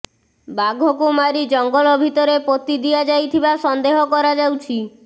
ବାଘକୁ ମାରି ଜଙ୍ଗଲ ଭିତରେ ପୋତି ଦିଆଯାଇଥିବା ସନ୍ଦେହ କରାଯାଉଛି